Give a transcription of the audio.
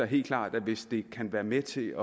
helt klart at hvis det kan være med til